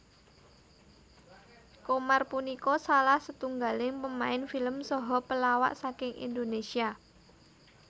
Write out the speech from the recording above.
Qomar punika salah setunggaling pemain film saha pelawak saking Indonésia